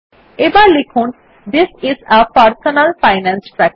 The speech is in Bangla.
এবার লিখুন THIS is A personal finance ট্র্যাকের